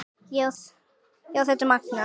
Já, þetta er magnað.